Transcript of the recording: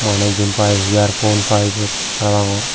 maney jiyenpai earphone paiput paai parapangor.